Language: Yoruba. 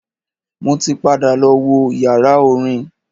Mo ti padà lọ wo yàrá orin.